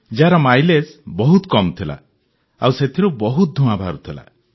ଯାହାର ମାଇଲେଜ୍ ବହୁତ କମ୍ ଥିଲା ଆଉ ସେଥିରୁ ବହୁତ ଧୂଆଁ ବାହାରୁଥିଲା